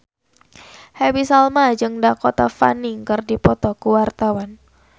Happy Salma jeung Dakota Fanning keur dipoto ku wartawan